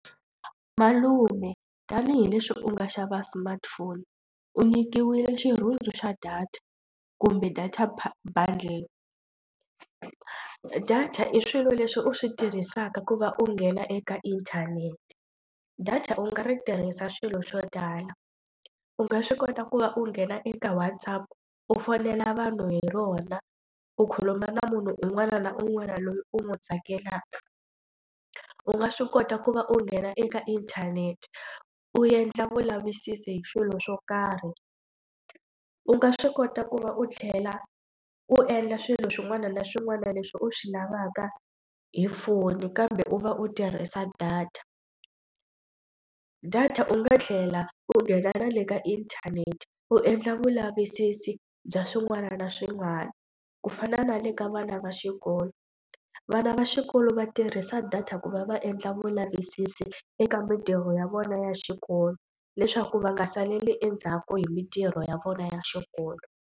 Malume tanihileswi u nga xava smartphone u nyikiwile xirhundzu xa data kumbe data bundle. Data i swilo leswi u swi tirhisaka ku va u nghena eka inthanete. Data u nga ri tirhisa swilo swo tala u nga swi kota ku va u nghena eka WhatsApp u fonela vanhu hi rona u khuluma na munhu un'wana na un'wana loyi u n'wi tsakelaka. U nga swi kota ku va u nghena eka inthanete u endla vulavisisi hi swilo swo karhi. U nga swi kota ku va u tlhela u endla swilo swin'wana na swin'wana leswi u swi lavaka hi foni kambe u va u tirhisa data. Data u nga tlhela u nghena na le ka inthanete u endla vulavisisi bya swin'wana na swin'wana ku fana na le ka vana va xikolo. Vana va xikolo va tirhisa data ku va va endla vulavisisi eka mitirho ya vona ya xikolo leswaku va nga saleli endzhaku hi mintirho ya vona ya xikolo.